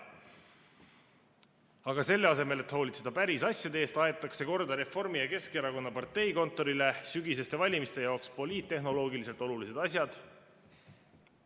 Aga selle asemel, et hoolitseda päris asjade eest, aetakse Reformierakonna ja Keskerakonna parteikontorile sügiseste valimiste jaoks korda poliittehnoloogiliselt olulised asjad.